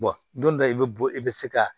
don dɔ i bɛ bɔ i bɛ se ka